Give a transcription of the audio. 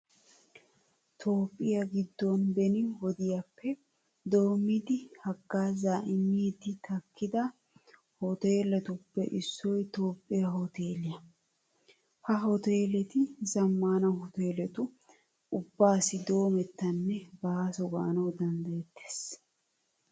Toophphiya giddon beni wodiyappe doommidi haggaazaa immiiddi takkida hooteeletuppe issoy Toophphiya hooteeliya. Ha hooteeleti zammaana hooteeletu ubbaassi doomettanne baaso gaanawu danddayettees.